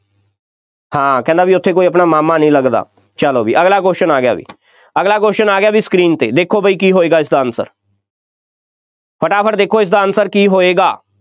ਹਾਂ ਕਹਿੰਦਾ ਬਈ ਆਪਣਾ ਕੋਈ ਉੱਥੇ ਮਾਮਾ ਨਹੀਂ ਲੱਗਦਾ, ਚੱਲੋ ਬਈ, ਅਗਲਾ question ਆ ਗਿਆ ਬਈ, ਅਗਲਾ question ਆ ਗਿਆ ਬਈ screen 'ਤੇ, ਦੇਖੋ ਬਈ ਕੀ ਹੋਏਗਾ, ਇਸਦਾ answer ਫਟਾਫਟ ਦੇਖੋ ਇਸਦਾ answer ਕੀ ਹੋਏਗਾ,